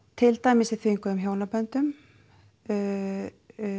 til dæmis í þvinguðum hjónaböndum